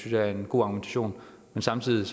jeg er en god argumentation men samtidig